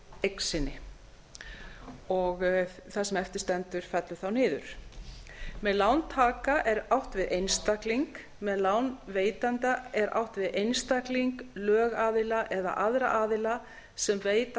eign sinni og það sem eftir stendur fellur þá niður með lántaka er átt við einstakling með lánveitanda er átt við einstakling lögaðila eða aðra aðila sem veita